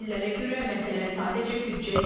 Təhlillərə görə məsələ sadəcə büdcə deyil.